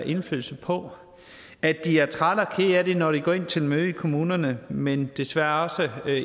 indflydelse på at de er trætte og kede af det når de går ind til et møde i kommunen men desværre